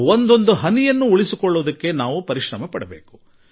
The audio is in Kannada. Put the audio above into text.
ಒಂದೊಂದು ಹನಿ ನೀರನ್ನು ಉಳಿಸಲು ನಾವು ಏನಾದರೂ ಪ್ರಯತ್ನಪಡೋಣ